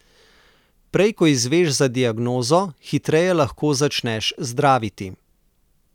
Prej ko izveš za diagnozo, hitreje lahko začneš zdraviti.